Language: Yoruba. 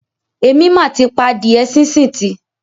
Èmi mà ti pa adíẹ sínsìn tì.